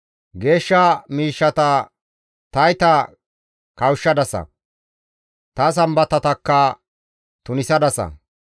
Geeshsha miishshata tayta kawushshadasa; ta Sambatatakka tunisadasa.